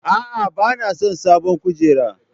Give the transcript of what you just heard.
A'a, ba na son sabon kujera.